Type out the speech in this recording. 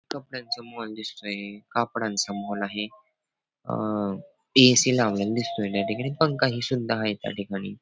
कपड्यांचा मॉल दिसतोय कापडांचा मॉल आहे अं ए.सी. लावलेला दिसतोय त्या ठिकाणी पंखा ही सुद्धा आहे त्या ठिकाणी.